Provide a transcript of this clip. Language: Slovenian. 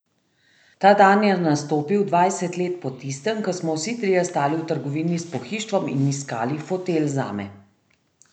Ta dan je nastopil dvajset let po tistem, ko smo vsi trije stali v trgovini s pohištvom in iskali fotelj zame.